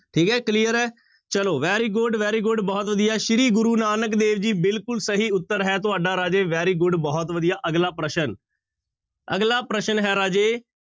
ਠੀਕ ਹੈ clear ਹੈ ਚਲੋ very good, very good ਬਹੁਤ ਵਧੀਆ ਸ੍ਰੀ ਗੁਰੂ ਨਾਨਕ ਦੇਵ ਜੀ ਬਿਲਕੁਲ ਸਹੀ ਉੱਤਰ ਹੈ ਤੁਹਾਡਾ ਰਾਜੇ very good ਬਹੁਤ ਵਧੀਆ, ਅਗਲਾ ਪ੍ਰਸ਼ਨ, ਅਗਲਾ ਪ੍ਰਸ਼ਨ ਹੈ ਰਾਜੇ